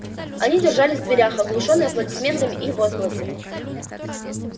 они держались в дверях оглушённые аплодисментами и возгласами